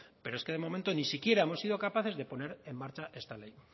pero es que de momento ni siquiera hemos sido capaces de poner en marcha esta ley